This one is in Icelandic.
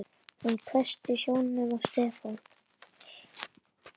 Hún hvessti sjónum á Stefán.